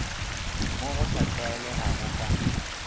mo go sa tlwaelegago ka